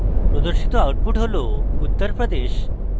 প্রদর্শিত output হল uttar pradesh